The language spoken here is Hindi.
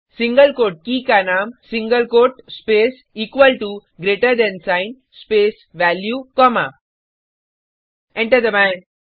सिंगल कोट् के का नाम single quote space equal to greater than sign space value comma enter दबाएँ